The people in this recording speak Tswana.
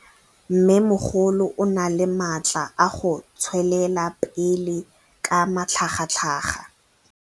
Mmêmogolo o na le matla a go tswelela pele ka matlhagatlhaga.